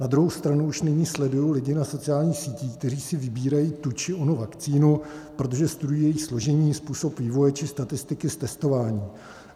Na druhou stranu už nyní sleduji lidi na sociálních sítích, kteří si vybírají tu či onu vakcínu, protože studují její složení, způsob vývoje či statistiky z testování.